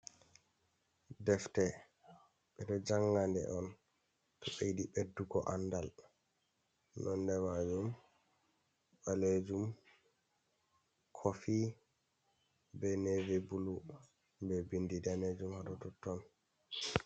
Defte, ɓe ɗo Jangande on to ɓe yiɗi Ɓeddugo andal, Nondemajum ɓalejum, kofi, be Nevi bulu be Bindi Danejum hado Totton.